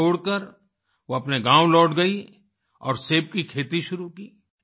ये छोड़ कर वो अपने गाँव लौट गईं और सेब की खेती शुरू की